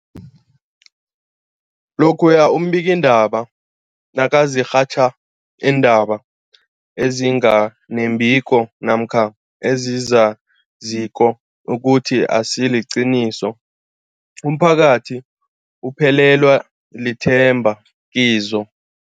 Lokhuya iimbikiindaba nazirhatjha iindaba ezinga nembiko namkha ezizaziko ukuthi azisiliqiniso, umphakathi uphelelwa lithemba kizo.